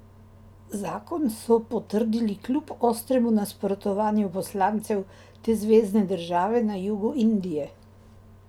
Zakon so potrdili kljub ostremu nasprotovanju poslancev te zvezne države na jugu Indije.